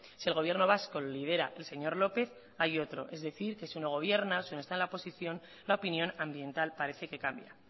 si el gobierno vasco lo lidera el señor lópez hay otro es decir que si uno gobierna o si está en la oposición la opinión ambiental parece que cambia